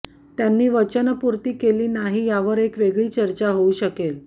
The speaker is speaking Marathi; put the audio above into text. त्यांनी वचनपूर्ती केली नाही यावर एक वेगळी चर्चा होऊ शकेल